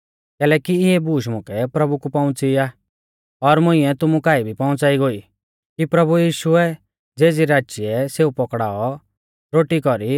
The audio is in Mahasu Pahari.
कैलैकि इऐ बूश मुकै प्रभु कु पहुंच़ी आ और मुंइऐ तुमु काऐ भी पहुंच़ाई गोई कि प्रभु यीशुऐ ज़ेज़ी राचिऐ सेऊ पौकड़ाऔ रोटी कौरी